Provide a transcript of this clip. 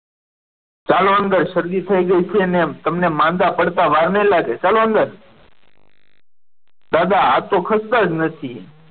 ચાલો હવે શરદી થઈ ગઈ છે ને તમને માંદા પડતા વાર નહીં લાગે ચાલો અંદર દાદા આ તો ખસતા જ નથી.